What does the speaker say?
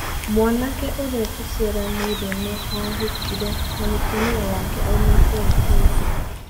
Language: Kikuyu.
Mwanake ũrĩ tũciaranĩirwo nĩ ahĩkĩre na mũtũmia wake aumĩte Burudi.